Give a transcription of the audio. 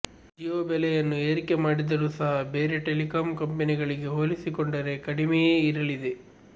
ಜಿಯೋ ಬೆಲೆಯನ್ನು ಏರಿಕೆ ಮಾಡಿದರೂ ಸಹ ಬೇರೆ ಟೆಲಿಕಾಂ ಕಂಪನಿಗಳಿಗೆ ಹೋಲಿಸಿಕೊಂಡರೆ ಕಡಿಮೆಯೇ ಇರಲಿದೆ